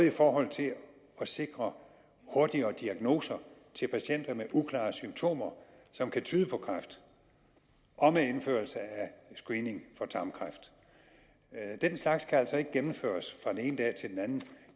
i forhold til at sikre hurtigere diagnoser til patienter med uklare symptomer som kan tyde på kræft og med indførelse af screening for tarmkræft den slags kan altså ikke gennemføres fra den ene dag til den anden